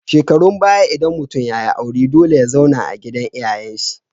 Shekarun baya idan mutun yayi aure dole ya zauna a gidan iyayan shi